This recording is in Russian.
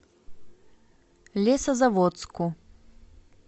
лесозаводску